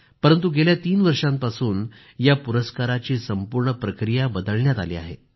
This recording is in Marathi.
परंतु गेल्या तीन वर्षांपासून या पुरस्काराची संपूर्ण प्रक्रिया बदलण्यात आली आहे